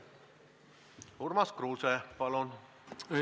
Urmas Kruuse, palun!